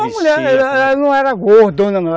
Ela não era gordona, não.